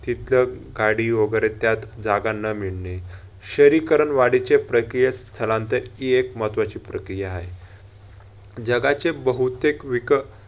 तितके गाडी वैगरे त्यात जागा न मिळणे. शहरीकरण वाढीचे प्रक्रिय स्थलांतर हि एक महत्वाची प्रक्रिया आहे. जगाचे बहुतेक विक